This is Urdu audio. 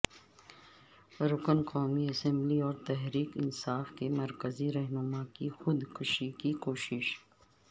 رکن قومی اسمبلی اور تحریک انصاف کے مرکزی رہنما کی خود کشی کی کوشش